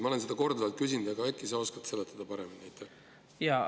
Ma olen seda korduvalt küsinud, aga äkki sa oskad paremini seletada.